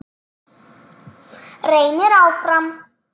Reynir áfram.